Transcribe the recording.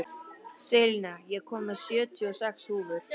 Selina, ég kom með sjötíu og sex húfur!